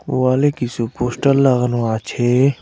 ওয়ালে কিছু পোষ্টার লাগানো আছে।